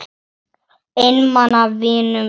Einmana vinum mínum.